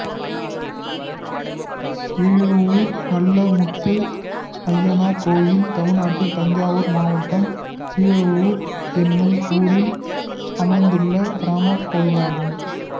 கீழஉளுர் நல்லமுத்து அய்யனார் கோயில் தமிழ்நாட்டில் தஞ்சாவூர் மாவட்டம் கீழஉளுர் என்னும் ஊரில் அமைந்துள்ள கிராமக் கோயிலாகும்